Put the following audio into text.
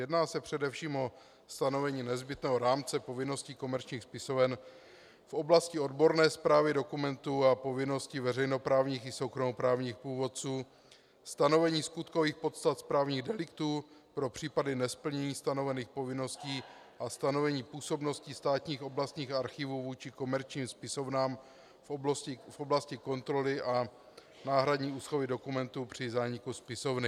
Jedná se především o stanovení nezbytného rámce povinností komerčních spisoven v oblasti odborné správy dokumentů a povinností veřejnoprávních i soukromoprávních původců, stanovení skutkových podstat správních deliktů pro případy nesplnění stanovených povinností a stanovení působnosti státních oblastních archívů vůči komerčním spisovnám v oblasti kontroly a náhradní úschovy dokumentů při zániku spisovny.